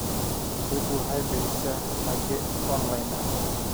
Dawladdu waxay bixisaa hage online ah.